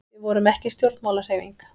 Við vorum ekki stjórnmálahreyfing.